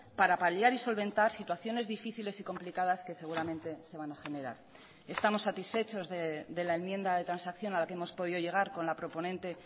para paliar y solventar situaciones difíciles y complicadas que seguramente se van a generar estamos satisfechos de la enmienda de transacción a la que hemos podido llegar con la proponente